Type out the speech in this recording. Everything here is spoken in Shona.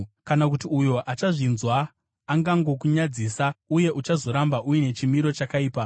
kana kuti uyo achazvinzwa angangokunyadzisa, uye uchazoramba uine chimiro chakaipa.